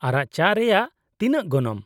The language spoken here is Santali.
ᱟᱨᱟᱜ ᱪᱟ ᱨᱮᱭᱟᱜ ᱛᱤᱱᱟᱹᱜ ᱜᱚᱱᱚᱝ ?